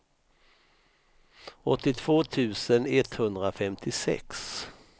åttiotvå tusen etthundrafemtiosex